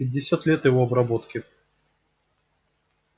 пятьдесят лет его обработки